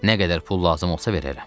Nə qədər pul lazım olsa verərəm.